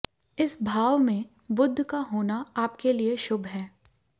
इस भाव में बुध का होना आपके लिए शुभ है